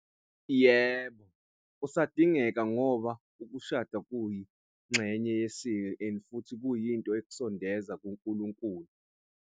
Yebo, usadingeka ngoba ukushada kuyingxenye yesiko and futhi kuyinto ekusondeza kuNkulunkulu.